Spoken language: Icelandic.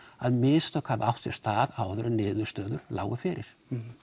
að mistök hafi átt sér stað áður en niðurstöður lágu fyrir